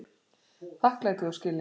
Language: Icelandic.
Þakklæti og skilningur